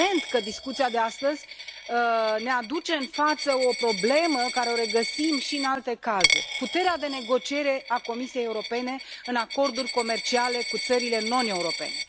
Evident că discuția de astăzi ne aduce în față o problemă pe care o regăsim și în alte cazuri puterea de negociere a Comisiei Europene în acorduri comerciale cu țările non europene.